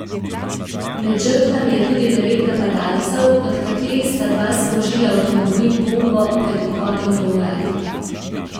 Med žrtvami je tudi devet napadalcev, od katerih sta dva sprožila avtomobil bombo pred vhodom v urad.